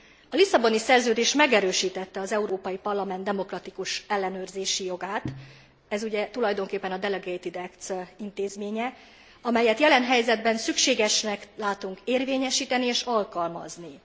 A Lisszaboni Szerződés megerősítette az Európai Parlament demokratikus ellenőrzési jogát, ez ugye tulajdonképpen a delegated acts intézménye, amelyet jelen helyzetben szükségesnek látunk érvényesíteni és alkalmazni.